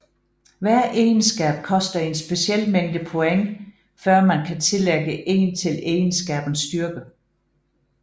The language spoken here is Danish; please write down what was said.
Hver egenskab koster en speciel mængde point før man kan tillægge 1 til egenskabens styrke